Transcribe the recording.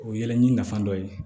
O ye yɛlɛli nafa dɔ ye